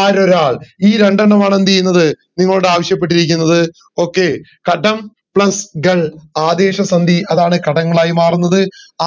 ആരൊരാൾ ഈ രണ്ടെണ്ണമാണ് നിങ്ങളോടു എന്ത് ചെയ്യുന്നത് ആവിശപ്പെട്ടിടരിക്കുന്നത് okay കടം plus കൾ ആതേശ സന്ധി അതാണ് കടങ്ങളായി മാറുന്നത്